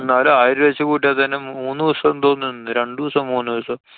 എന്നാലും ആയിരം രൂപ വച്ചു കൂട്ട്യാ തന്നെ മൂന്നൂസം എന്തോ നിന്ന്. രണ്ടൂസം മൂന്നൂസം.